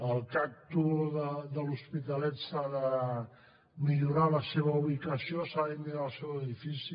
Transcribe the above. al cagtu de l’hospitalet s’ha de millorar la seva ubicació s’ha de millorar el seu edifici